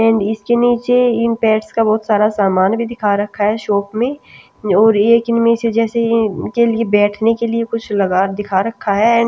and इसके नीचे इन पैट्स का बहुत सारा सामान भी दिखा रखा है शॉप में और एक इनमें से जैसे इनके लिए बैठने के लिए कुछ लगा दिखा रखा है एंड --